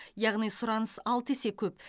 яғни сұраныс алты есе көп